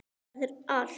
Það er allt.